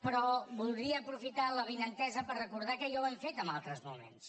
però voldria aprofitar l’avinentesa per recordar que ja ho hem fet en altres moments